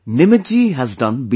Nimit ji has done B